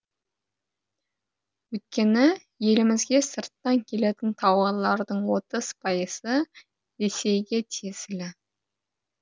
өйткені елімізге сырттан келетін тауарлардың отыз пайызы ресейге тиесілі